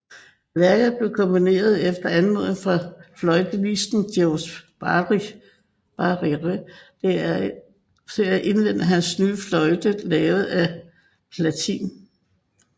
Værket blev komponeret efter anmodning fra fløjtenisten Georges Barrère til at indvie hans nye fløjte lavet af platin